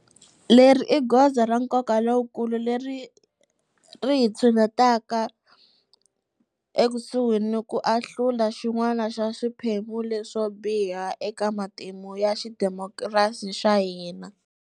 Leri i goza ra nkoka lowukulu leri ri hi tshinetaka ekusuhi ni ku ahlula xin'wana xa swiphemu leswo biha eka matimu ya xidemokirasi xa hina.